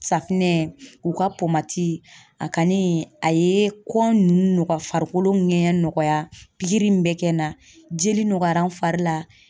Safinɛ u ka a kani a ye kɔn farikolo ŋɛɲɛ nɔgɔya pikiri min bɛ kɛ na jeli nɔgɔyara n fari la.